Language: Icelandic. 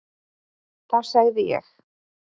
Þá segði ég: